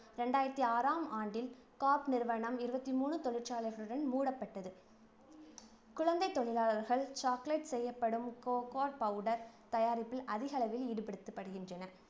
ரெண்டாயிரத்தி ஆறாம் ஆண்டில் காப் நிறுவனம் இருவத்தி மூணு தொழிற்சாலைகளுடன் மூடப்பட்டது குழந்தைத் தொழிலாளர்கள் chocolate செய்யப் பயன்படும் cocoa powder தயாரிப்பில் அதிகளவில் ஈடுபடுத்தப்படுகின்றனர்.